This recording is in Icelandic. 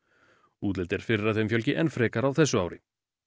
útlit er fyrir að þeim fjölgi enn frekar á þessu ári